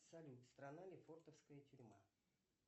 салют страна лефортовская тюрьма